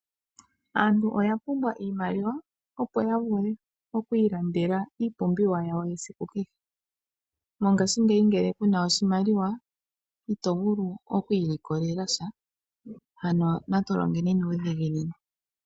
Aantu oya pumbwa iimaliwa, opo ya vule okwiilandela iipumbiwa yawo yesiku kehe. Mongashingeyi ngele kuna oshimaliwa, itovulu okwiilikolela sha. Ano natu longeni nuudhiginini.